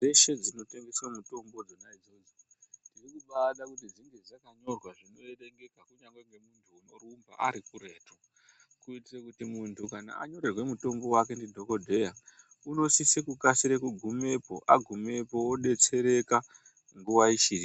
Ndau dzeshe dzinotengeswa mitombo idzonaidzodzo tikubade kuti dzinge dzakanyorwa zvinoerengeka kunyangwe ngemuntu unorumba arikuretu kuitire kuti muntu kana anyorerwa mutombo wake ndidhokodheya unosise kukasire kugumepo agumepo obetsereka nguva ichipo .